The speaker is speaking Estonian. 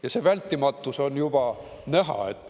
Ja see vältimatus on juba näha.